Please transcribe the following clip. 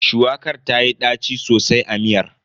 Shuwakar tayi ɗaci sosai a miyar.